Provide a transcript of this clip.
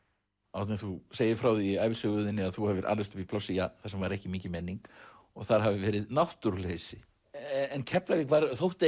Árni þú segir frá því í ævisögu þinni að þú hafir alist upp í plássi þar sem ekki var mikil menning og þar hafi verið náttúruleysi en Keflavík þótti á